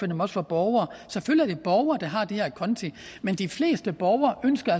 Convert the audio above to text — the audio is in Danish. dem også for borgere og selvfølgelig borgere der har de her konti men de fleste borgere ønsker